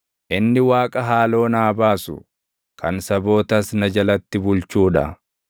Inni Waaqa haaloo naa baasu, kan sabootas na jalatti bulchuu dha;